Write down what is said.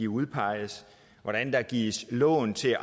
udpeges hvordan der gives lån til